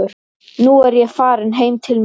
Nú er ég farin heim til mín.